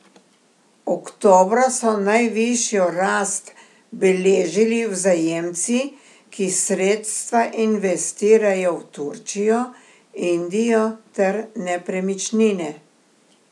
Oktobra so najvišjo rast beležili vzajemci, ki sredstva investirajo v Turčijo, Indijo ter nepremičnine.